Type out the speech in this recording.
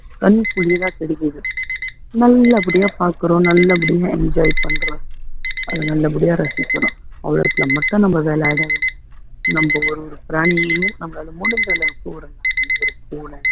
கண் குளிரா தெரியுது நல்ல படியா பாக்குறோம் நல்ல படியா enjoy பண்றோம் அதை நல்லபடியா ரசிக்கிறோம் வேலை ஆகிடாதுங்க நம்ம ஒரு ஒரு பிராணியையும் நம்மளால முடிஞ்ச அளவுக்கு ஒரு நாய் ஒரு பூனை